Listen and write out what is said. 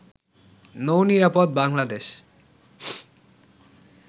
নৌ-নিরাপদ Bangladesh